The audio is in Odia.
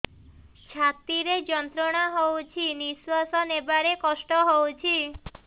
ଛାତି ରେ ଯନ୍ତ୍ରଣା ହଉଛି ନିଶ୍ୱାସ ନେବାରେ କଷ୍ଟ ହଉଛି